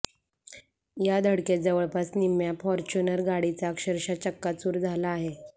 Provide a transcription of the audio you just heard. या धडकेत जवळपास निम्म्या फॉर्च्युनर गाडीचा अक्षरशः चक्काचूर झाला आहे